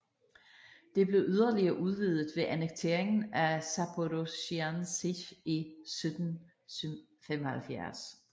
Det blev yderligere udvidet ved annekteringen af Zaporozhian Sich i 1775